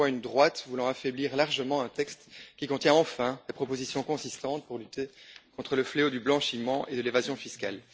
On voit une droite voulant affaiblir largement un texte qui contient, enfin, des propositions consistantes pour lutter contre le fléau du blanchiment et l'évasion fiscale.